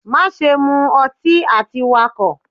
Maṣe mu ọtí ati Wakọ!